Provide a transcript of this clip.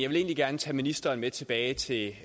vil egentlig gerne tage ministeren med tilbage til